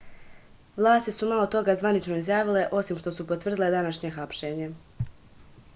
vlasti su malo toga zvanično izjavile osim što su potvrdile današnje hapšenje